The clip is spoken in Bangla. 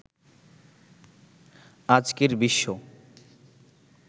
আজকের বিশ্ব